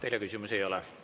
Teile küsimusi ei ole.